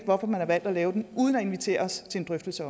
hvorfor man har valgt at lave den uden at invitere os til en drøftelse